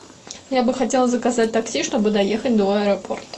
я бы хотела заказать такси чтобы доехать до аэропорта